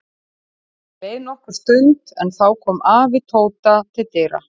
Það leið nokkur stund en þá kom afi Tóta til dyra.